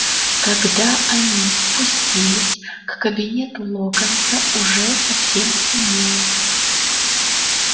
когда они спустились к кабинету локонса уже совсем стемнело